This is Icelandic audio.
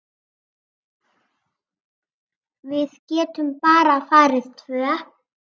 Við getum bara farið tvö.